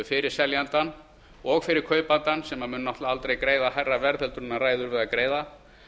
fyrir seljandann og fyrir kaupandann sem mun náttúrlega aldrei greiða hærra verð en hann ræður við að greiða